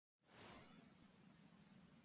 Og ég kippi honum upp úr.